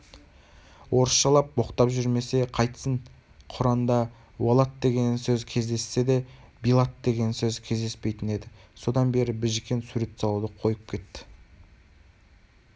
орысшалап боқтап жүрмесе қайтсын құранда уалад деген сөз кездессе де билат деген сөз кездеспейтін еді содан бері біжікен сурет салуды қойып кетті